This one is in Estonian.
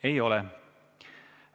Ei ole.